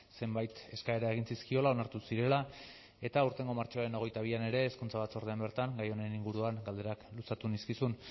zenbait eskaera egin zizkiola onartu zirela eta aurtengo martxoaren hogeita bian ere hezkuntza batzordean bertan gai honen inguruan galderak luzatu nizkizun